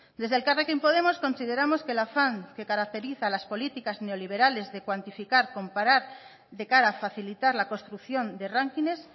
desde elkarrekin podemos consideramos que el afán que caracteriza las políticas neoliberales de cuantificar comparar de cara a facilitar la construcción de rankings